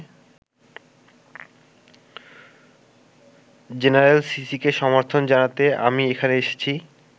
General সিসিকে সমর্থন জানাতে আমি এখানে এসেছি।